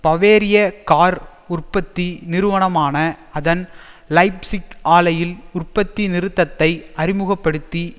பவேரிய car உற்பத்தி நிறுவனமான அதன் லைப்சிக் ஆலையில் உற்பத்தி நிறுத்தத்தை அறிமுக படுத்தி